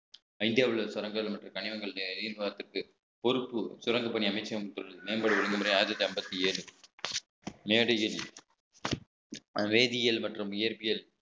இந்தியாவில் உள்ள சுரங்கங்கள் மற்றும் கனிமங்கள் பொறுப்பு சுரங்கப் பணி அமைச்சகம் மேம்பாடு ஒழுங்குமுறை ஆயிரத்தி ஐம்பத்தி ஏழு மேடையில் வேதியியல் மற்றும் இயற்பியல்